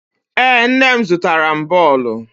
Ee, nne m zụtara m bọọlụ.